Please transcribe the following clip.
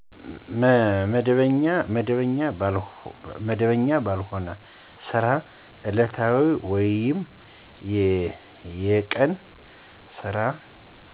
መደበኛ ባልሆነ ስራ እለታዊ ወይም የቀን ስራ